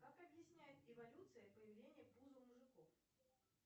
как объясняет эволюция появление пуза у мужиков